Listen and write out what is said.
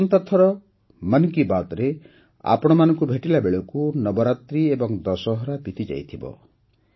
ଆସନ୍ତା ଥର ମନ୍ କି ବାତ୍ରେ ଆପଣମାନଙ୍କୁ ଭେଟିଲା ବେଳକୁ ନବରାତ୍ରି ଓ ଦଶହରା ବିତିଯାଇଥିବ